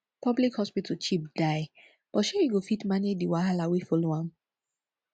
public hospital cheap die but shey yu go fit manage di wahala wey follow am